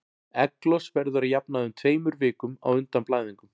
Egglos verður að jafnaði um tveimur vikum á undan blæðingum.